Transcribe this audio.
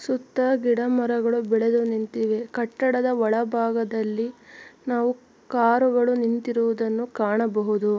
ಸುತ್ತ ಗಿಡ-ಮರಗಳು ಬೆಳೆದು ನಿಂತಿವೆ. ಕಟ್ಟಡದ ಒಳಭಾಗದಲ್ಲಿ ನಾವು ಕಾರುಗಳು ನಿಂತಿರುವುದನ್ನು ಕಾಣಬಹುದು.